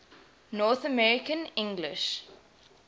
north american english